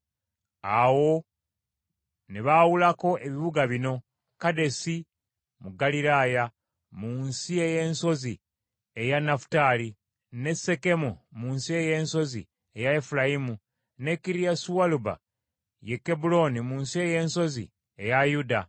Awo ne baawulako ebibuga bino: Kedesi mu Ggaliraaya mu nsi ey’ensozi eya Nafutaali, ne Sekemu mu nsi ey’ensozi eya Efulayimu, ne Kiriasualuba, ye Kebbulooni mu nsi ey’ensozi eya Yuda.